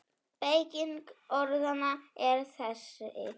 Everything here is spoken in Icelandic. Beyging orðanna er þessi